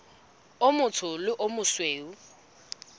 o motsho le o mosweu